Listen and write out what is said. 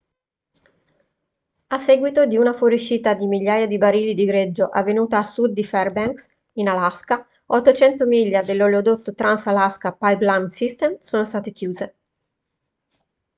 a seguito di una fuoriuscita di migliaia di barili di greggio avvenuta a sud di fairbanks in alaska 800 miglia dell'oleodotto trans-alaska pipeline system sono state chiuse